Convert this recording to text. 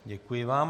Děkuji vám.